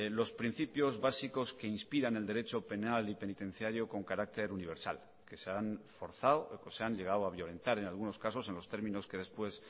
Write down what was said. los principios básicos que inspiran el derecho penal y penitenciario con carácter universal que se han forzado que se han llegado a violentar en algunos casos en los términos que después